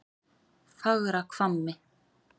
Fagrahvammi